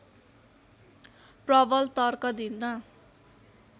प्रबल तर्क दिन